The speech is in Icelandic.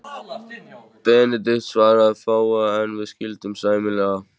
Benedikt svaraði fáu, en við skildum sæmilega.